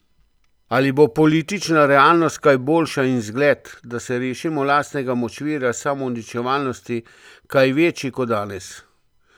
Ali bo politična realnost kaj boljša in izgled, da se rešimo lastnega močvirja samouničevalnosti, kaj večji, kot danes?